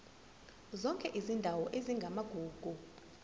zonke izindawo ezingamagugu